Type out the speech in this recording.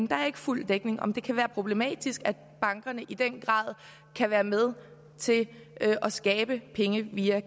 jo ikke fuld dækning om det kan være problematisk at bankerne i den grad kan være med til at skabe penge via